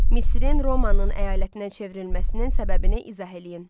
Misirin Romanın əyalətinə çevrilməsinin səbəbini izah eləyin.